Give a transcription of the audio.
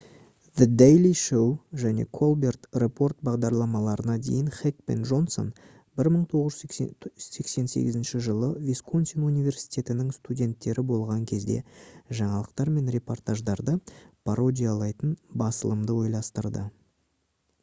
the daily show және the colbert report бағдарламаларына дейін хек пен джонсон 1988 жылы висконсин университетінің студенттері болған кезде жаңалықтар мен репортаждарды пародиялайтын басылымды ойластырды